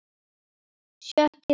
Sjötti þáttur